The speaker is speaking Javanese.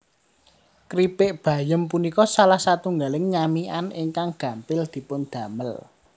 Kripik bayem punika salah satunggaling nyamikan ingkang gampil dipun damel